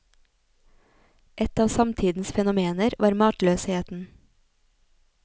Et av samtidens fenomener var matløsheten.